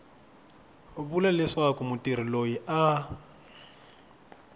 vula leswaku mutirhi loyi a